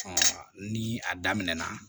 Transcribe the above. ni a daminɛna